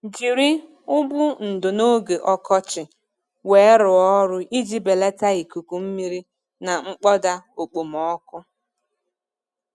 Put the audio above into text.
Jiri ụgbụ ndò n'oge ọkọchị weerụọ ọrụ iji belata ikuku mmiri na mkpọda okpomọkụ.